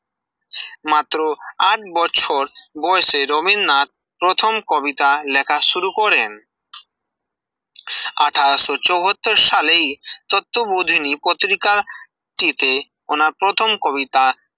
মাত্র আট বছর বয়সে রবীন্দ্রনাথ প্রথম কবিতা লেখা শুরু করেন আঠাশও চুয়াত্তর সালেই তত্ব বোধিনী পত্রিকাতে টিতে ওনার প্রথম কবিতা